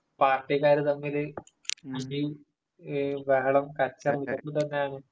പാർട്ടിക്കാര് തമ്മില്..അടി, ബഹളം, കച്ചറ ഇതൊക്കെത്തന്നെയാണ്...